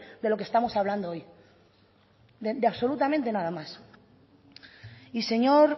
de lo que estamos hablando hoy de absolutamente nada más y señor